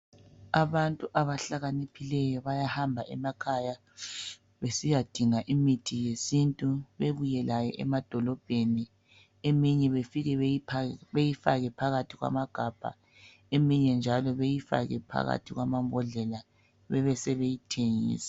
abantu abahlakaniphileyo bayahamba emakhaya besiyadinga imithi yesintu bebuye layo emadolobheni eminye befike beyifake phakathi kwamagabha eminye njalo beyifake phakathi kwamambodlela bebesebeyithengisa